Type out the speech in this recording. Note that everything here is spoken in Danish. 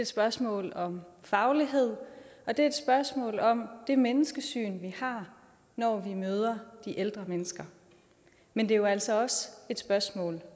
spørgsmål om faglighed og det er et spørgsmål om det menneskesyn vi har når vi møder de ældre mennesker men det er jo altså også et spørgsmål